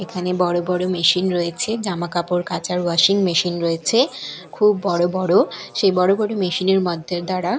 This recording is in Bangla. এখানে বড় বড় মেশিন রয়েছে জামা কাপড় কাচার ওয়াশিং মেশিন রয়েছে খুব বড় বড় সেই বড় বড় মেশিন -এর মাধ্য দ্বারা--